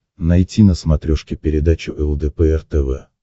найти на смотрешке передачу лдпр тв